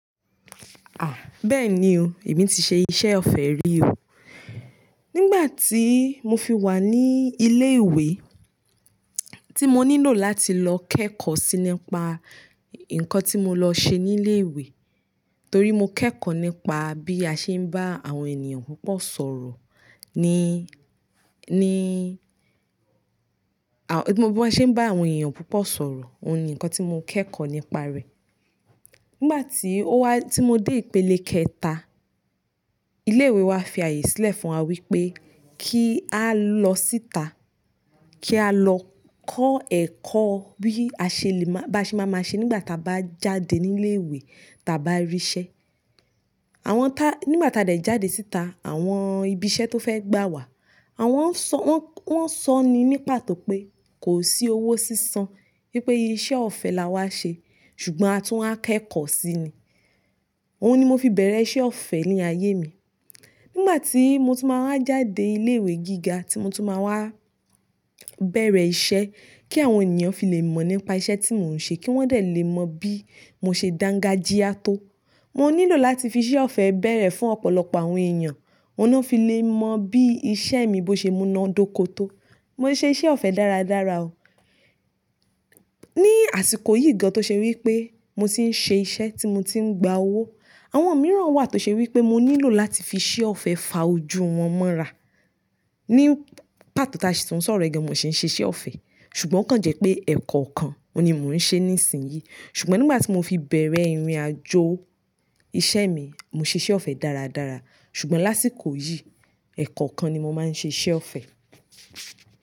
Ah, bẹ́ẹ̀ni o, èmi ti ṣe iṣẹ́ ọ̀fẹ́ rí oo. Nígbà tí mo fi wà ní ilé ìwé tí mo nílò láti lọ kẹ́kọ̀ọ́ sí nípa nǹkan tí mo lọ ṣe ní ilé ìwé, torí mo kẹ́kọ̀ọ́ nípa bí a ṣe ń bá àwọn ènìyàn púpọ̀ sọ̀rọ̀, ni, ni, à, bí mo bá ṣe ń bá àwọn èèyàn púpọ̀ sọ̀rọ̀, òun ni nǹkan tí mo kẹ́kọ̀ọ́ nípa rẹ̀. Nígbà tí ó wá, tí mo dé ìpele kẹta, ilé ìwé wa fi àyè sílẹ̀ fún wa wípé kí á lọ síta, kí á lọ kọ́ ẹ̀kọ́ bí a ṣe lè má, bá ṣe máa ṣe nígbà tí a bá jáde ní ilé ìwé tà bá rí iṣẹ́. Àwọn tá, nígbà tí a dà jáde síta, àwọn ibi iṣẹ́ tó fẹ́ gbà wà, àwọn ń sọ, wọ́n, wọ́n ń sọ ni ní pàtó pé kò sí owó sísan, wípé iṣẹ́ ọ̀fẹ́ la wá ṣe, ṣùgbọ́n a tún á kẹ́kọ̀ọ́ sí ni. Òun ni mo fi bẹ̀rẹ̀ iṣẹ́ ọ̀fẹ́ ní ayé mi. Nígbà tí mo tú máa wa jáde ilé ìwé gíga tí mo tú máa wá bẹ̀rẹ̀ iṣẹ́ kí àwọn ènìyàn fi lè mọ̀ nípa iṣẹ́ tí mò ń ṣe kí wọ́n dẹ lè mọ bí mo ṣe dangajíá tó, mo nílò láti fi iṣẹ́ ọ̀fẹ́ bẹ̀rẹ̀ fún ọ̀pọ̀lọpọ̀ àwọn èèyàn, òun lọ fi lè mọ bí iṣẹ́ mi bó ṣe múná dóko tó. Mo ṣe iṣẹ́ ọ̀fẹ́ dáradára o. Ni àsìkò yìí gan-an tó ṣe wípé mo ti ń ṣe iṣẹ́ tí mo ti ń gba owó, àwọn mìíràn wà tó ṣe wípé mo nílò láti fi iṣẹ́ ọ̀fẹ́ fa ojú wọn mọ́ra. Ní pàtó ta ṣùn sọ̀rọ̀ ẹ̀ gan, mo sì ń ṣe iṣẹ́ ọ̀fẹ́, ṣùgbọ́n kàn jẹ́ pé ẹ̀kọ́ kan òun ni mò ń ṣe ní ìsìn yìí. Ṣùgbọ́n nígbà tí mo fi bẹ̀rẹ̀ ìrìnàjò iṣẹ́ mi, mo ṣe iṣẹ́ ọ̀fẹ́ dáradára, ṣùgbọ́n lásìkò yìí, ẹ̀kọ́ kan ni mo máa ń ṣe iṣẹ́ ọ̀fẹ́.